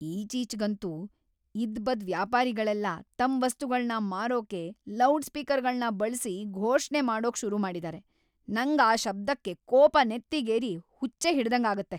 ಈಚೀಚ್ಗಂತೂ ಇದ್ಬದ್ ವ್ಯಾಪಾರಿಗಳೆಲ್ಲ ತಮ್‌ ವಸ್ತುಗಳ್ನ ಮಾರೋಕೆ ಲೌಡ್‌ಸ್ಪೀಕರ್‌ಗಳ್ನ ಬಳ್ಸಿ ಘೋಷಣೆ ಮಾಡೋಕ್‌ ಶುರು ಮಾಡಿದಾರೆ, ನಂಗ್ ಆ ಶಬ್ದಕ್ಕೆ ಕೋಪ ನೆತ್ತಿಗೇರಿ ಹುಚ್ಚೇ ಹಿಡ್ದಂಗಾಗತ್ತೆ.